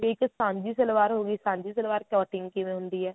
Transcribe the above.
ਇੱਕ ਸਾਂਝੀ ਸਲਵਾਰ ਹੋਗੀ ਸਾਂਝੀ ਸਲਵਾਰ cutting ਕਿਵੇਂ ਹੁੰਦੀ ਏ